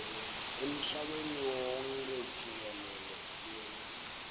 emhlabeni wonkhe jikelele